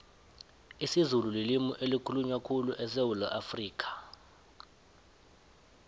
isizulu lilimu elikhulunywa khulu esewula afrikha